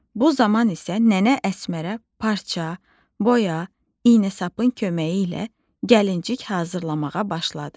Bu zaman isə nənə Əsmərə parça, boya, iynə sapın köməyi ilə gəlincik hazırlamağa başladı.